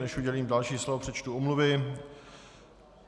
Než udělím další slovo, přečtu omluvy.